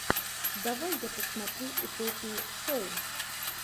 давай я посмотрю утопию шоу